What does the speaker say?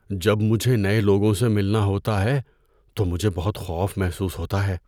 جب مجھے نئے لوگوں سے ملنا ہوتا ہے تو مجھے بہت خوف محسوس ہوتا ہے۔